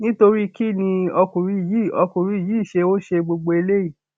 nítorí kín ni ọkùnrin yìí ọkùnrin yìí ṣe ń ṣe gbogbo eléyìí